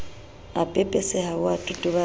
a pepeseha o a totobala